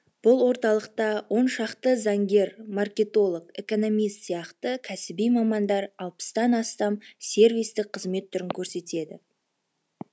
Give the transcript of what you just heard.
бұл орталықта он шақты заңгер маркетолог экономист сияқты кәсіби мамандар алпыстан астам сервистік қызмет түрін көрсетеді